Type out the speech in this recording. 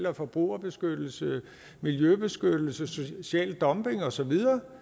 om forbrugerbeskyttelse miljøbeskyttelse social dumping og så videre